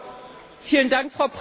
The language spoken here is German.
Frau Präsidentin!